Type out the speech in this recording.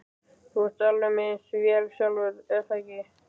Þú ert með alveg eins vél sjálfur, er það ekki?